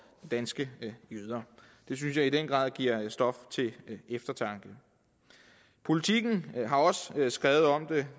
danske jøder det synes jeg i den grad giver stof til eftertanke politiken har også skrevet om det